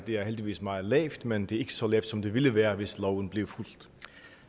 er heldigvis meget lavt men det er ikke så lavt som det ville være hvis loven blev fulgt